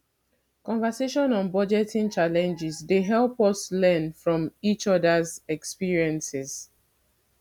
conversations on budgeting challenges dey help us learn from each others experiences